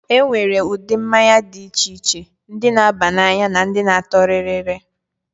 E nwere ụdị mmanya dị iche iche: ndị na-aba n'anya na ndị na-atọ rịrị.